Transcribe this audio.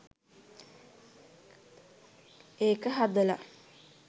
ඒක හදල